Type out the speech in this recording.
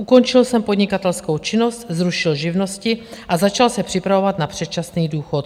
Ukončil jsem podnikatelskou činnost, zrušil živnosti a začal se připravovat na předčasný důchod.